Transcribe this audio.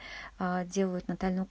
а делают натальну